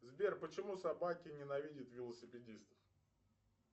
сбер почему собаки ненавидят велосипедистов